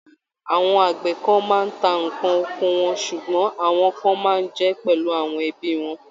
Àwọn àgbẹ̀ kan máa ń tá ǹkan oko wọn ṣùgbọ́n àwọn kan máa ń jẹ́ pẹ̀lú àwọn ẹbí wọn.